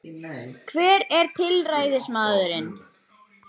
Hver er tilræðismaðurinn